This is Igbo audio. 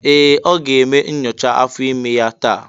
Ee! Ọ ga-eme nyocha afọ ime ya taa.